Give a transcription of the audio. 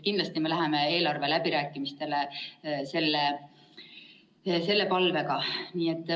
Kindlasti me läheme eelarveläbirääkimistele selle palvega.